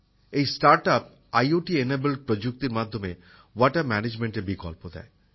এই startup IoT enabled প্রযুক্তির মাধ্যমে জল সংক্রান্ত ব্যবস্থাপনার বিকল্প দেয়